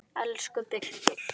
Elsku Birkir.